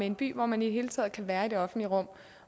en by hvor man i det hele taget kan være i det offentlige rum